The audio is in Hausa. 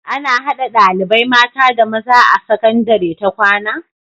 Ana hada ɗalibai mata da maza a sakandari ta kwAna?